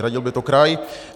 Hradil by to kraj?